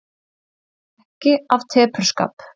Ekki af tepruskap.